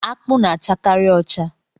Akpụ na-achakari ọcha.